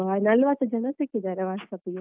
ನಲ್ವತ್ತು ಜನ ಸಿಕ್ಕಿದ್ದಾರೆ ಅಸ್ಟೊತ್ತಿಗೆ.